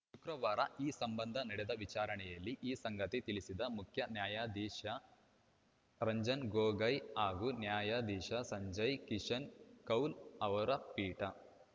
ಶುಕ್ರವಾರ ಈ ಸಂಬಂಧ ನಡೆದ ವಿಚಾರಣೆಯಲ್ಲಿ ಈ ಸಂಗತಿ ತಿಳಿಸಿದ ಮುಖ್ಯ ನ್ಯಾಯಾಧೀಶ ರಂಜನ್‌ ಗೊಗೋಯ್‌ ಹಾಗೂ ನ್ಯಾಯಧೀಶ ಸಂಜಯ್‌ ಕಿಶನ್‌ ಕೌಲ್‌ ಅವರ ಪೀಠ